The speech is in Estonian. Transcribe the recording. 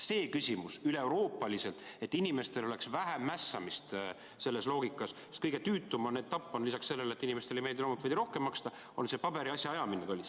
See, et üle Euroopa oleks inimestel vähem mässamist selles loogikas, sest kõige tüütum etapp, lisaks sellele, et inimestele ei meeldi loomulikult veidi rohkem maksta, on see paberitega asjaajamine tollis.